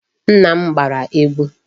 Nna m gbara egwu.